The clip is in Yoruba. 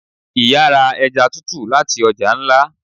Iyá ra eja tútú latí ọja ńlá